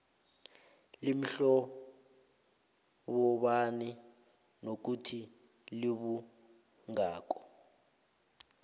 limhlobobani nokuthi libungako